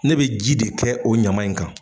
Ne bɛ ji de kɛ o ɲama in kan.